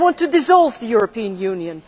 they want to dissolve the European Union.